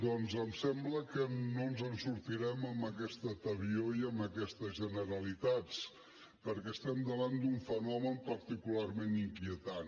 doncs em sembla que no ens en sortirem amb aquesta tebior i amb aquestes generalitats perquè estem davant d’un fenomen particularment inquietant